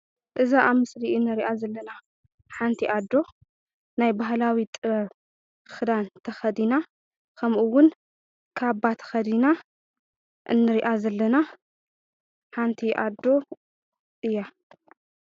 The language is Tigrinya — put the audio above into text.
እዛ ኣብ ምስሊ እንሪኣ ዘላ ሓንቲ ኣዶ ናይ ባህላዊ ጥበብ ክዳን ተኸዲና ከሙኡ እዉን ካባ ተኸዲና እንሪኣ ዘለና ሓንቲ ኣዶ እያ ።